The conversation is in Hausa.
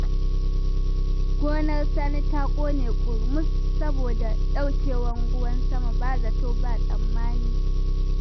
Gonar sani ta ƙone ƙurmus saboda ɗaukewar ruwan sama ba zato ba tsammani